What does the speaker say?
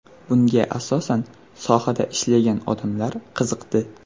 Bunga asosan sohada ishlagan odamlar qiziqdi.